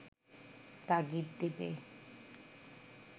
তাগিদ দেবে